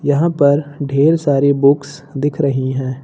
यहां पर ढेर सारी बुक्स दिख रही हैं।